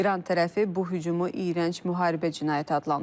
İran tərəfi bu hücumu iyrənc müharibə cinayəti adlandırıb.